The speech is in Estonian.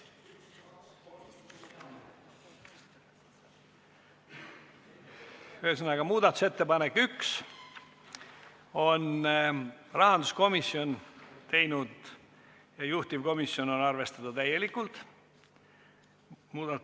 Ühesõnaga, esimese muudatusettepaneku on teinud rahanduskomisjon ja juhtivkomisjon on seda täielikult arvestanud.